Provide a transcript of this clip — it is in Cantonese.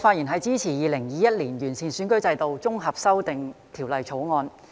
主席，我發言支持《2021年完善選舉制度條例草案》。